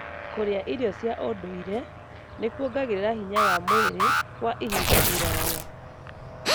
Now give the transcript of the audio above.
Kũrĩa irio cia ũndũire nĩkuongagĩrĩra hinya wa mwĩrĩ kwa ihinda iraya.